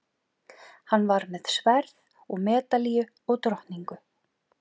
Hann var með sverð og medalíu og drottningu.